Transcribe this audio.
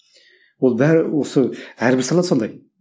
ол бәрі осы әрбір сала сондай